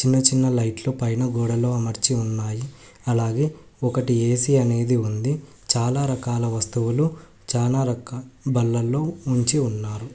చిన్న చిన్న లైట్లు పైన గోడలో అమర్చి ఉన్నాయి అలాగే ఒకటి ఏ_సీ అనేది ఉంది చాలా రకాల వస్తువులు చానా రక్క బల్లల్లో ఉంచి ఉన్నారు.